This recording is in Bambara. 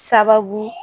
Sababu